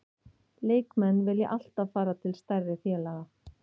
Leikmenn vilja alltaf fara til stærri félaga.